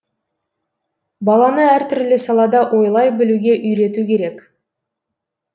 баланы әртүрлі салада ойлай білуге үйрету керек